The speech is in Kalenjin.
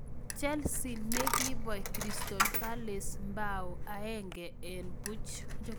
Chelsea ne kobey Cyrstal Palace bao 1-0.